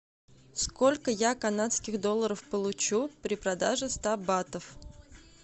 сколько я канадских долларов получу при продаже ста батов